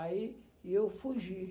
Aí e eu fugi.